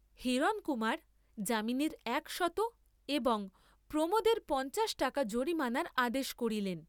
হিরণকুমার যামিনীর একশত এবং প্রমোদের পঞ্চাশ টাকা জরিমানার আদেশ করিলেন।